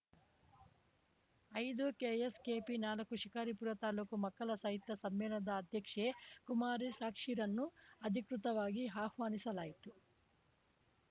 ಐದು ಕೆಎಸ್‌ಕೆಪಿ ನಾಲ್ಕು ಶಿಕಾರಿಪುರ ತಾಲೂಕು ಮಕ್ಕಳ ಸಾಹಿತ್ಯ ಸಮ್ಮೇಳನದ ಅಧ್ಯಕ್ಷೆ ಕುಮಾರಿಸಾಕ್ಷಿರನ್ನು ಅಧಿಕೃತವಾಗಿ ಆಹ್ವಾನಿಸಲಾಯಿತು